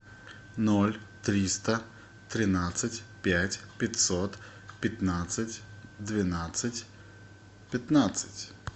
ноль триста тринадцать пять пятьсот пятнадцать двенадцать пятнадцать